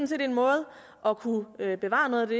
set en måde at kunne bevare noget af det